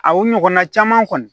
A o ɲɔgɔnna caman kɔni